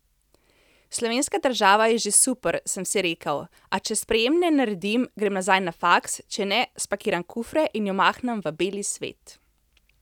Slovenska država je že super, sem si rekel, a če sprejemne naredim, grem nazaj na faks, če ne, spakiram kufre in jo mahnem v beli svet.